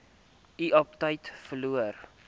u aptyt verloor